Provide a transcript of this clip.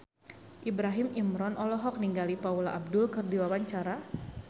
Ibrahim Imran olohok ningali Paula Abdul keur diwawancara